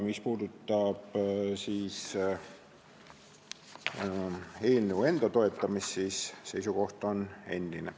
Mis puudutab eelnõu enda toetamist, siis seisukoht on endine.